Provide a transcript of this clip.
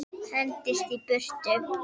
Hendist í burtu.